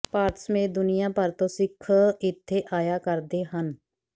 ਭਾਰਤ ਸਮੇਤ ਦੁਨੀਆ ਭਰ ਤੋਂ ਸਿੱਖ ਇੱਥੇ ਆਇਆ ਕਰਦੇ ਹਨ